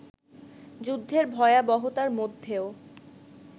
যুদ্ধের ভয়াবহতার মধ্যেও